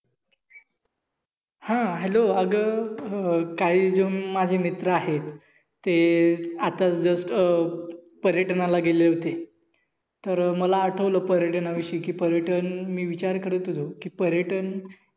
हा Hello अग अं काही जण माझे मित्र आहेत. ते आत्ता जस्ट अं पर्यटनाला गेले होते. तर मला आटवल पर्यटनाविषयी कि पर्यटन मी विचार करत होतो कि पर्यटन